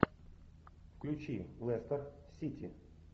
включи лестер сити